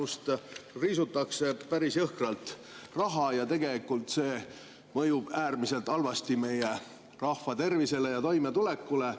Sealt riisutakse päris jõhkralt raha ja tegelikult see mõjub äärmiselt halvasti meie rahva tervisele ja toimetulekule.